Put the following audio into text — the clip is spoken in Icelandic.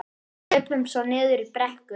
Hlupum svo niður í brekku.